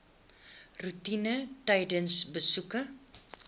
roetine tydens besoeke